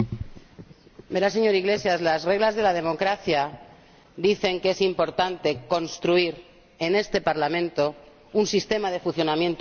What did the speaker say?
Verá, señor Iglesias, las reglas de la democracia dicen que es importante construir en este Parlamento un sistema de funcionamiento posible.